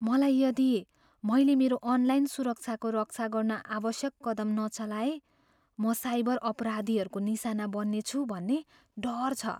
मलाई यदि मैले मेरो अनलाइन सुरक्षाको रक्षा गर्न आवश्यक कदम नचलाए म साइबर अपराधीहरूको निशाना बन्नेछु भन्ने डर छ।